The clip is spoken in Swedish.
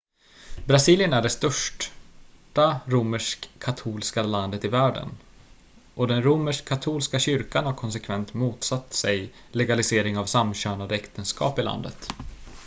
brasilien är det största romersk-katolska landet i världen och den romersk-katolska kyrkan har konsekvent motsatt sig legalisering av samkönade äktenskap i landet